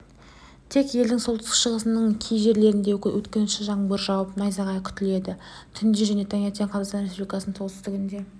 тек елдің солтүстік-шығысының кей жерлерінде өткінші жаңбыр жауып найзағай күтіледі түнде және таңертең қазақстан республикасының солтүстігінде